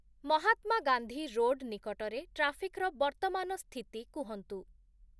Mahatma Gandhi road ନିକଟରେ ଟ୍ରାଫିକ୍‌ର ବର୍ତ୍ତମାନ ସ୍ଥିତି କୁହନ୍ତୁ